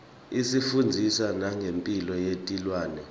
isifundzisa nangemphilo yetilwane